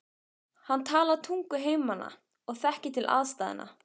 Hann talar tungu heimamanna og þekkir til aðstæðna.